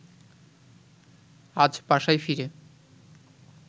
আজ বাসায় ফিরে